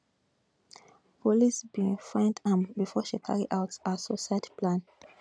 police bin find am bifor she carry out her suicide plan